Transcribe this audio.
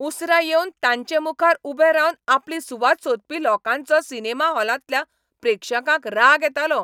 उसरां येवन तांचे मुखार उबे रावन आपली सुवात सोदपी लोकांचो सिनेमा हॉलांतल्या प्रेक्षकांक राग येतालो.